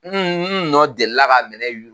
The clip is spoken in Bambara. Un un nɔ delila ka minɛ yu